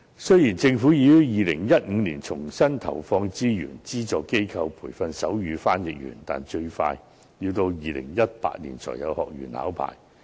雖然，政府已於2015年重新投放資源，發放資助予不同機構培訓手語傳譯員，但最快要到2018年才有學員考牌。